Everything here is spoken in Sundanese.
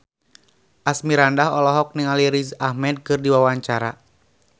Asmirandah olohok ningali Riz Ahmed keur diwawancara